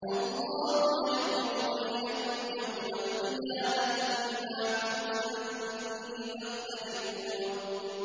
اللَّهُ يَحْكُمُ بَيْنَكُمْ يَوْمَ الْقِيَامَةِ فِيمَا كُنتُمْ فِيهِ تَخْتَلِفُونَ